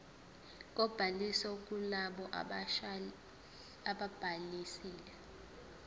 kobhaliso kulabo ababhalisile